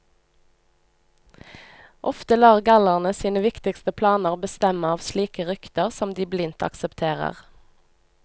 Ofte lar gallerne sine viktigste planer bestemme av slike rykter som de blindt aksepterer.